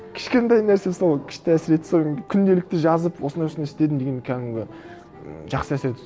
кішкентай нәрсе сол күшті әсер етті сол күнделікті жазып осындай осындай істедім деген кәдімгі м жақсы әсер етеді